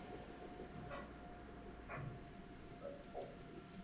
Enda hvernig mátti annað vera?